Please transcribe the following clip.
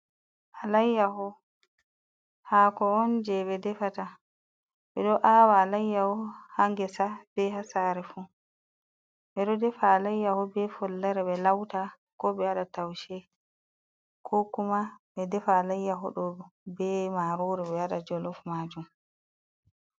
Alayyaho, hako on jei ɓe defata. Ɓe ɗo awa alayyaho ha ngesa, be ha sare fu. Ɓe ɗo defa alayyaho be follare be lauta ko be waɗa taushe. Ko kuma ɓe defa alayyaho ɗo be marori be waɗa jolof maajum.